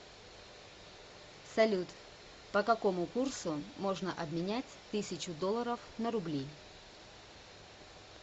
салют по какому курсу можно обменять тысячу долларов на рубли